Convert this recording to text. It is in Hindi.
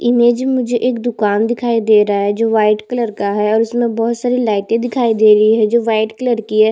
इमेज में मुझे एक दुकान दिखाई दे रहा है जो व्हाइट कलर का है और उसमें बहोत सारी लाइटें दिखाई दे रही है जो व्हाइट कलर की हैं।